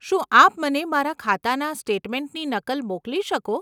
શું આપ મને મારા ખાતાના સ્ટેટમેન્ટની નકલ મોકલી શકો?